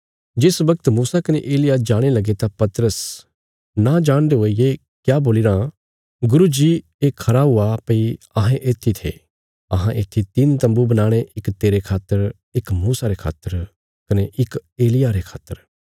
जिस बगत मूसा कने एलिय्याह जाणे लगे तां पतरस नां जाणदे हुये ये क्या बोलीराँ गुरू जी ये खरा हुआ भई अहें येत्थी थे अहां येत्थी तिन्न तम्बू बनाणे इक तेरे खातर इक मूसा खातर कने इक एलिय्याह रे खातर